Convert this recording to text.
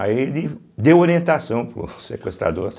Aí ele deu orientação para o sequestrador.